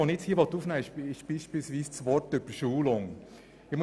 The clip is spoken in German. Ich möchte nun unter anderem den Begriff «Überschulung» aufnehmen.